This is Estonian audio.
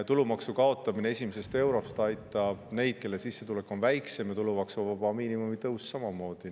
Tulumaksu kaotamine esimesest eurost aitab neid, kelle sissetulek on väiksem, ja tulumaksuvaba miinimumi tõus samamoodi.